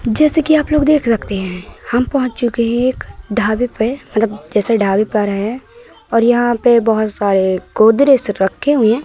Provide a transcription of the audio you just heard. जैसे कि आप लोग देख रखते हैं हम पहोच चुके हैं एक ढाबे पे मतलब जैसे ढाबे पर आए हैं और यहाँ पे बहोत सारे गोदरेज रखे हुए हैं।